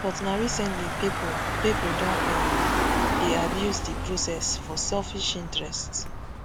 but na recently pipo pipo don um dey abuse di process for selfish interests